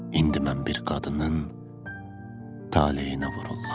İndi mən bir qadının taleyinə vururam.